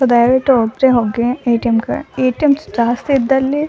ದಯವಿಟ್ಟು ಒಬ್ರೇ ಹೋಗಿ ಎ_ಟಿ_ಎಂ ಗೆ ಎ_ಟಿ_ಎಂ ಜಾಸ್ತಿ ಇದ್ದಲ್ಲಿ